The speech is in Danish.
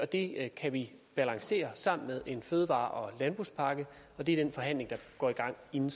det kan vi balancere sammen med en fødevare og landbrugspakke og det er den forhandling der går i gang inden